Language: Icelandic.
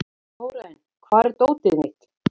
Þórarinn, hvar er dótið mitt?